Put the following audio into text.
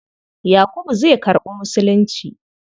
Yakubu zai karɓi Musulunci.